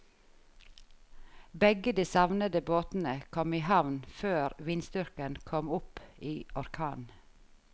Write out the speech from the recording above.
Begge de savnede båtene kom i havn før vindstyrken kom opp i orkan.